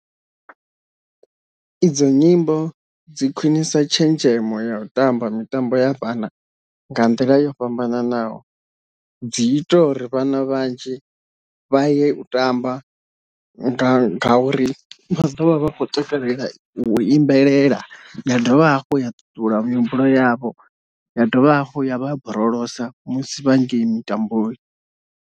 Idzo nyimbo dzi khwinisa tshenzhemo ya u tamba mitambo ya vhana nga nḓila yo fhambananaho, dzi ita uri vhana vhanzhi vha ye u tamba nga uri vha ḓovha vha kho takalela u imbelela ya dovha hafhu ya ṱuṱula mihumbulo yavho, ya dovha hafhu ya vha borolosa musi vha ngei mitamboni.